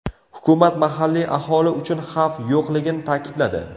Hukumat mahalliy aholi uchun xavf yo‘qligini ta’kidladi.